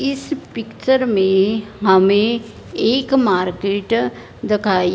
इस पिक्चर में हमे एक मार्केट देखाई--